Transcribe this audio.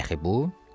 Dəxli bu?